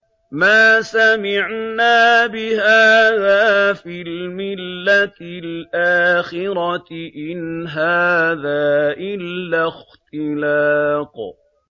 مَا سَمِعْنَا بِهَٰذَا فِي الْمِلَّةِ الْآخِرَةِ إِنْ هَٰذَا إِلَّا اخْتِلَاقٌ